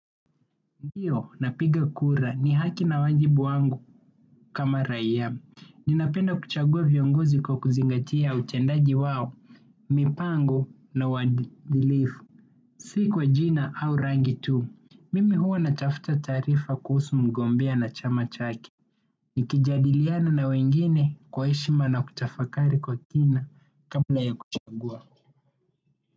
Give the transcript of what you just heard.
Ndiyo, napiga kura. Ni haki na wajibu wangu kama raia. Ninapenda kuchagua viongozi kwa kuzingatia utendaji wao, mipango na uadilifu. Si kwa jina au rangi tu. Mimi huwa natafuta taarifa kuhusu mgombea na chama chake. Nikijadiliana na wengine kwa heshima na kutafakari kwa kina kabla ya kuchagua.